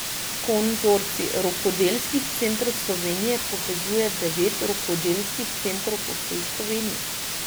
Konzorcij rokodelskih centrov Slovenije povezuje devet rokodelskih centrov po vsej Sloveniji.